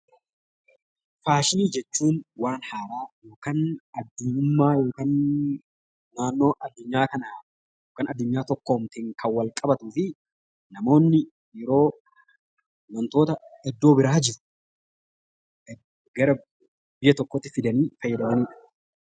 Faashinii jechuun waan haaraa yookaan addunyummaq yookaan naannoo addunyaq kanaa yookiin addunyaa tokkoomteen kan wal qabatuu fi namoonni yeroo wantoota iddoo biraa jiru gara biyya tokkoo tti fidanii fayyadamani dha.